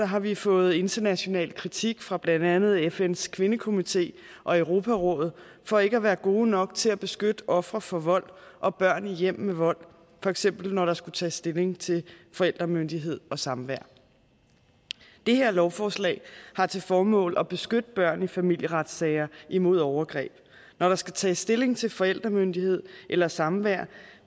har vi fået international kritik fra blandt andet fns kvindekomité og europarådet for ikke at være gode nok til at beskytte ofre for vold og børn i hjem med vold for eksempel når der skulle tages stilling til forældremyndighed og samvær det her lovforslag har til formål at beskytte børn i familieretssager imod overgreb når der skal tages stilling til forældremyndighed eller samvær